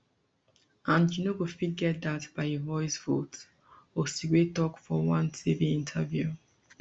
and you no go fit get dat by a voice vote osigwe tok for one tv interview